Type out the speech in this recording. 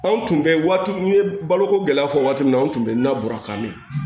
Anw tun bɛ waati n ye baloko gɛlɛya fɔ waati min na an tun bɛ na bɔrɔkan mɛn